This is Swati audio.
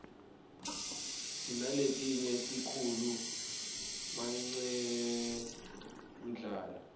sinaletinye tikhulu manqemdlala